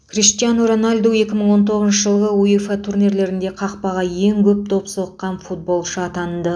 криштиану роналду екі мың он тоғызыншы жылғы уефа турнирлерінде қақпаға ең көп доп соққан футболшы атанды